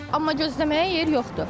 Amma gözləməyə yer yoxdur.